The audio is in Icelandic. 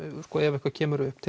ef eitthvað kemur upp